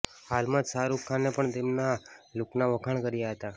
હાલમાં જ શાહરૂખ ખાને પણ તેમના લુકના વખાણ કર્યા હતા